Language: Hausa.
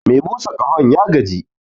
Me busa ƙahon ya gaji